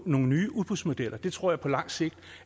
nogle nye udbudsmodeller det tror jeg på langt sigt